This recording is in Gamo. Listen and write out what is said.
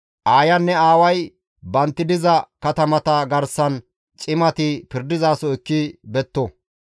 aayanne aaway bantti diza katamata garsan cimati pirdizaso ekki betto.